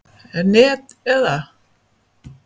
net eða.